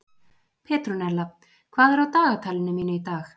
Petrúnella, hvað er á dagatalinu mínu í dag?